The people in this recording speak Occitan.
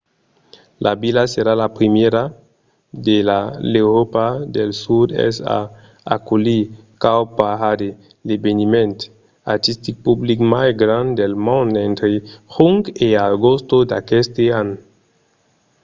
la vila serà la primièra de l'euròpa del sud-èst a aculhir cowparade l'eveniment artistic public mai grand del mond entre junh e agost d'aqueste an